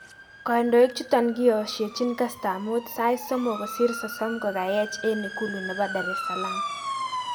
Kondoik chuton kiyoshechin kastab mut sait somok kosir sosom kokayech eng ikulu nebo Daresalam